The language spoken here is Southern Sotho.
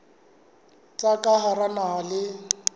tsa ka hara naha le